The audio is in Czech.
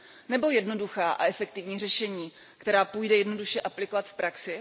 Nebo jednoduchá a efektivní řešení, která půjde jednoduše aplikovat v praxi?